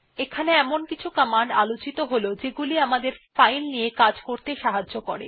এখানে কিছু কমান্ড আলোচিত হল যেগুলি আমাদের ফাইল নিয়ে কাজ করতে সাহায্য করে